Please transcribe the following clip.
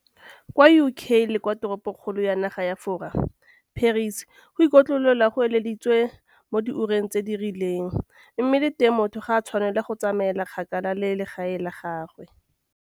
Kwa UK le kwa teropokgolong ya naga ya Fora, Paris, go ikotlolola go ileditswe mo diureng tse di rileng mme le teng motho ga a tshwanela go tsamaela kgakala le legae la gagwe.